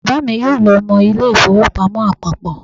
Bàbá mi yóò lọ mọ ilé ìfowópamọ́ àpapọ̀